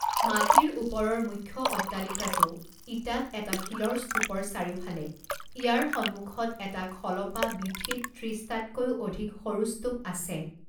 মাটিৰ ওপৰৰ মুখ্য অট্টালিকাটো ইটাত এটা শিলৰ স্তূপৰ চাৰিওফালে ইয়াৰ সন্মুখত এটা খলপা বীথিত ত্ৰিছটাতকৈও অধিক সৰু স্তূপ আছে।